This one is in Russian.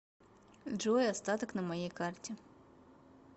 джой остаток на моей карте